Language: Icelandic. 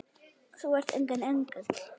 Þú ert enginn engill.